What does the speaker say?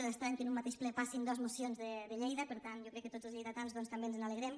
és estrany que en un mateix ple passin dos mocions de lleida per tant jo crec que tots els lleidatans també ens n’alegrem